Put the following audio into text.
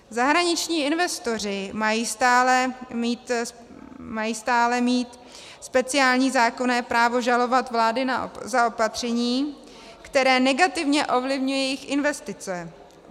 Zahraniční investoři mají stále mít speciální zákonné právo žalovat vlády za opatření, která negativně ovlivňují jejich investice.